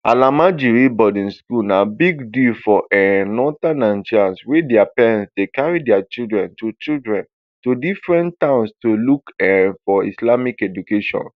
almajiri boarding school na big deal for um northern nigeria wia parents dey carry dia children to children to different towns to look um for islamic education